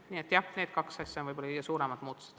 Nii et jah, need kaks asja ongi võib-olla kõige suuremad muudatused.